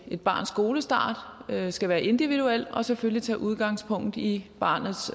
et barns skolestart skal være individuel og selvfølgelig tage udgangspunkt i barnets